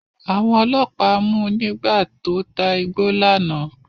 Àwọn ọlọ́pàá mu nígbà tó ta igbó lánàá.